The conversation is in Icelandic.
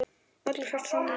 Öllu hrært saman og kælt